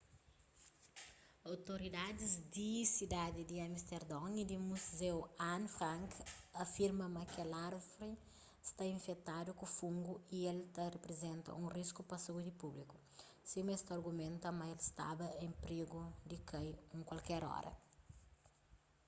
outoridadis di sidadi di amisterdon y di muzeu anne frank afirma ma kel árvri sta infetadu ku fungu y el ta riprizenta un risku pa saúdi públiku sima es ta argumenta ma el staba en prigu di kai un kualker óra